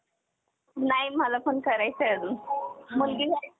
नाही मला पण करायचं आहे अजून मुलगी